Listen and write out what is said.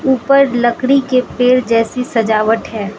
ऊपर लकड़ी के पेड़ जैसी सजावट है।